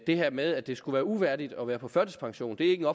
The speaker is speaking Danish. det her med at det skulle være uværdigt at være på førtidspension det er ikke